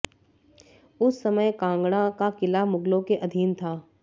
उस समय कांगड़ा का किला मुगलों के अधीन था